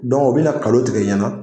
Dɔgɔ u bi na kalo tigɛ i ɲɛna